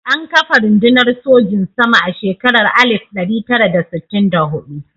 An kafa rundunar sojin sama a shekarar 1964.